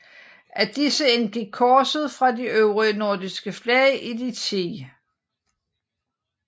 Af disse indgik korset fra de øvrige nordiske flag i de 10